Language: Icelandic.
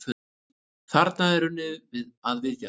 Þarna er unnið að viðgerð.